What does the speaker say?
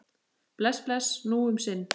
Bless, bless, nú um sinn.